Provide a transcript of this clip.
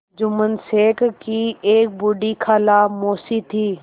जुम्मन शेख की एक बूढ़ी खाला मौसी थी